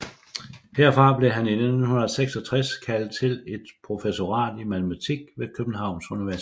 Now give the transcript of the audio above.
Herfra blev han i 1966 kaldet til et professorat i matematik ved Københavns Universitet